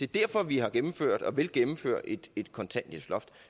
derfor vi har gennemført og vil gennemføre et et kontanthjælpsloft